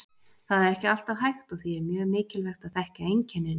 Það er ekki alltaf hægt og því er mjög mikilvægt að þekkja einkennin.